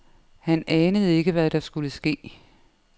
Han anede ikke, hvad der skulle ske.